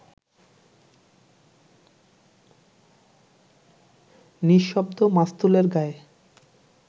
নিঃশব্দ মাস্তুলের গায়ে